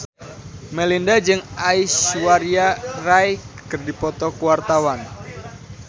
Melinda jeung Aishwarya Rai keur dipoto ku wartawan